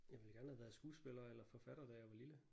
Jeg ville gerne have været skuespiller eller forfatter da jeg var lille